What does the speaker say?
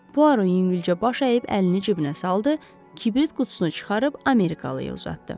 Puaro yüngülcə baş əyib əlini cibinə saldı, kibrit qutusunu çıxarıb amerikalıya uzatdı.